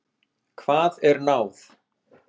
Hvað er náð?